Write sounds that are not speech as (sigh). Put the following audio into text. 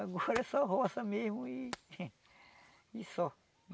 Agora é só roça mesmo e (laughs) e só.